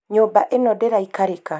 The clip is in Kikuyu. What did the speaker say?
nyũmba ĩno ndĩraikarĩka